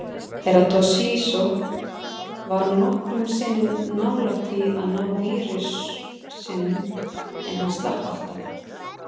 Herra Toshizo var nokkrum sinnum nbálægt því að ná vísrusinum, en hann slapp alltaf.